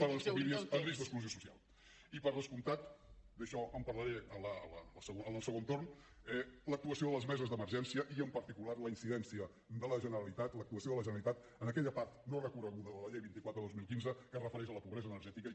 per a les famílies en risc d’exclusió social i per descomptat d’això en parlaré en el segon torn l’actuació de les meses d’emergència i en particular la incidència de la generalitat l’actuació de la generalitat en aquella part no recorreguda de la llei vint quatre dos mil quinze que es refereix a la pobresa energètica i que